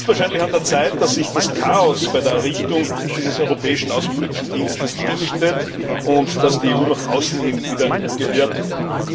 Es ist wahrscheinlich an der Zeit, dass sich das Dickicht bei der Errichtung dieses Europäischen Auswärtigen Dienstes lichtet und dass die EU nach außen hin wieder gehört wird.